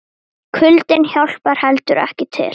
Kuldinn hjálpar heldur ekki til.